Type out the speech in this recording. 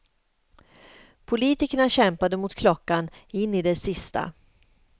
Politikerna kämpade mot klockan in i det sista.